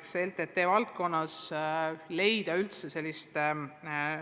Kogu LTT valdkonnas on raske leida